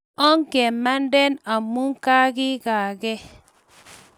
Ongemande amu kagigaage